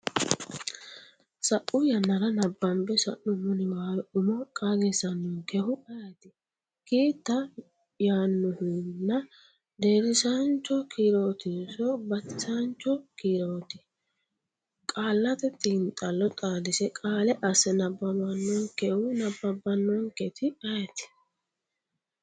sa’u yannara nabbambe sa’nummo niwaawe umo qaagisannonkehu ayeeti? ki ta yaannohuna, deerrisaancho kiirootinso batinyisaancho kiirooti? Qaallate Xiinxallo xaadise qaale asse nabbawannonkehu nabbabbannonketi ayeeti?